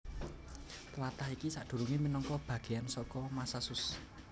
Tlatah iki sadurungé minangka bagéyan saka Massachusetts